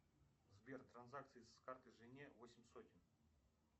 сбер транзакции с карты жене восемь сотен